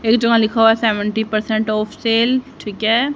ये जो लिखा है सेवन्टिपरसेंट ऑफ सेल ठीक है।